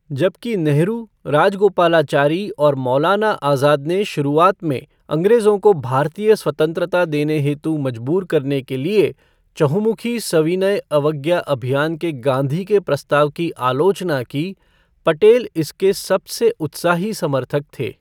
जबकि नेहरू, राजगोपालाचारी और मौलाना आज़ाद ने शुरुआत में अँग्रेजों को भारतीय स्वतंत्रता देने हेतु मजबूर करने के लिए चहुँमुखी सविनय अवज्ञा अभियान के गाँधी के प्रस्ताव की आलोचना की, पटेल इसके सबसे उत्साही समर्थक थे।